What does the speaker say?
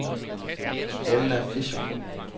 Elna Fischer